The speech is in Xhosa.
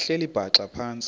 behleli bhaxa phantsi